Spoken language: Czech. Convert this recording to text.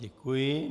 Děkuji.